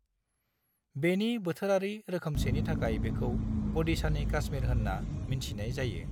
बेनि बोथोरारि रोखोमसेनि थाखाय बेखौ "अडिशानि काश्मीर" होन्ना मिन्थिनाय जायो।